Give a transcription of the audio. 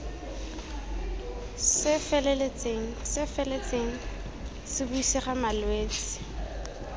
se feletseng se buisega malwetse